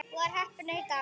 Var heppin að hitta hann.